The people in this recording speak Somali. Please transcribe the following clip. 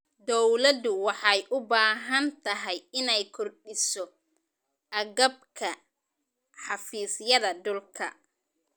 Dawladdu waxay u baahan tahay inay kordhiso agabka xafiisyada dhulka.